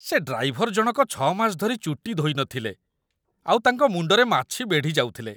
ସେ ଡ୍ରାଇଭର ଜଣକ ଛଅ ମାସ ଧରି ଚୁଟି ଧୋଇ ନଥିଲେ, ଆଉ ତାଙ୍କ ମୁଣ୍ଡରେ ମାଛି ବେଢ଼ିଯାଉଥିଲେ ।